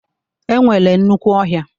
E nwere nnukwu ọhịa.